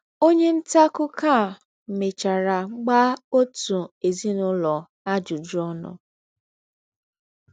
Ọnye nta akụkọ a mechara gbaa ọtụ ezinụlọ ajụjụ ọnụ.